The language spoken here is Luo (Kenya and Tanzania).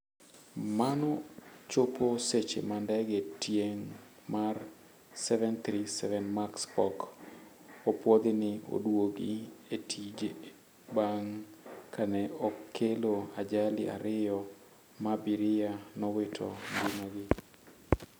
Mano chopo seche ma ndege tieng' mar 737 Max pok opuodhi ni oduogi e tije bang' ka ne okelo ajali ariyo ma abiria nowito ngimagi